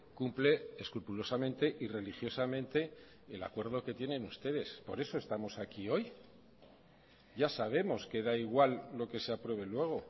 cumple escrupulosamente y religiosamente el acuerdo que tienen ustedes por eso estamos aquí hoy ya sabemos que da igual lo que se apruebe luego